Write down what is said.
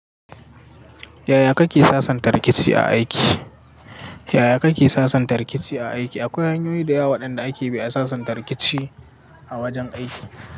Yaya kake sasanta rikici a aiki? Yaya kake sasanta rikici a aiki? Akwai hanyoyi da yawa waɗanda ake bi a sasanta rikici a wajen aiki.